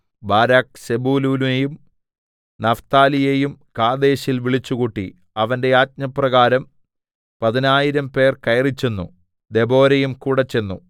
Barak സെബൂലൂനെയും നഫ്താലിയെയും കാദേശിൽ വിളിച്ചുകൂട്ടി അവന്റെ ആജ്ഞപ്രകാരം പതിനായിരംപേർ കയറിച്ചെന്നു ദെബോരയുംകൂടെച്ചെന്നു